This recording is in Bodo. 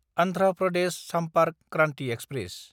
आन्ध्रा प्रदेश सामपार्क क्रान्थि एक्सप्रेस